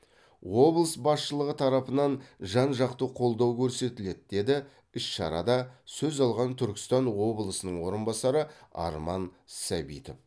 облыс басшылығы тарапынан жан жақты қолдау көрсетіледі деді іс шарада сөз алған түркістан облысының орынбасары арман сәбитов